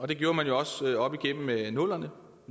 det gjorde man jo også op igennem nullerne